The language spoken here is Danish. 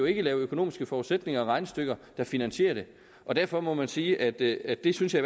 ikke lave økonomiske forudsætninger og regnestykker der finansierer det og derfor må man sige at det at det synes jeg